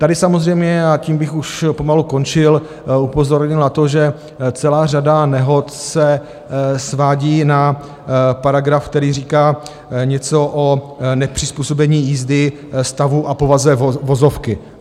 Tady samozřejmě, a tím bych už pomalu končil, upozornil na to, že celá řada nehod se svádí na paragraf, který říká něco o nepřizpůsobení jízdy stavu a povaze vozovky.